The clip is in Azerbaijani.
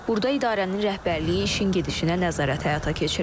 Burda idarənin rəhbərliyi işin gedişinə nəzarət həyata keçirir.